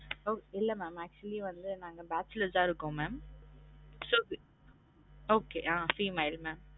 இல்ல mam actually வந்து நாங்க bachelors தான் இருக்கோம் mam okay hmm female mam